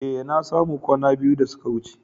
Eh, na samu kwana biyu da suka wuce.